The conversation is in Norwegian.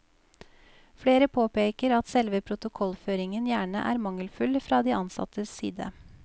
Flere påpeker at selve protokollføringen gjerne er mangelfull fra de ansattes side.